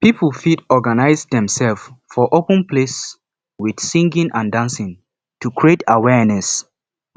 pipo fit organise themselves for open place with singing and dancing to create awareness